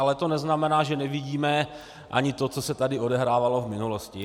Ale to neznamená, že nevidíme ani to, co se tady odehrávalo v minulosti.